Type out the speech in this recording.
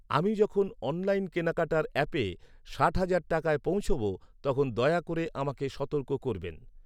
আমি যখন অনলাইন কেনাকাটার অ্যাপে ষাট হাজার টাকায় পৌঁছবো তখন দয়া করে আমাকে সতর্ক করবেন।